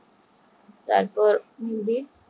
তারপর